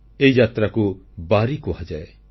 ଏହି ଯାତ୍ରାକୁ ବାରୀ କୁହାଯାଏ